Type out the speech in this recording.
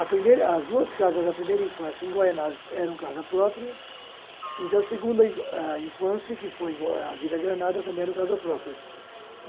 A primeira, as duas casas da primeira infância, em Guaianases, eram casa própria, e da segunda ah infância, que foi a Vila Granada, também era casa própria.